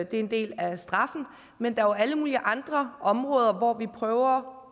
det er en del af straffen men der er jo alle mulige andre områder hvor vi prøver